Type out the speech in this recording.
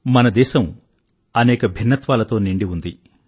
మన దేశం అనేక భిన్నత్వాలతో నిండి ఉంది